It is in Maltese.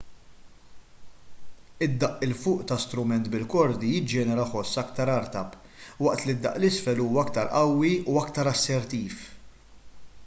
id-daqq l fuq ta' strument bil-kordi jiġġenera ħoss aktar artab waqt li daqq l isfel huwa aktar qawwi u aktar assertiv